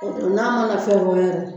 O don n'a mana fɛn fɔ yɛrɛ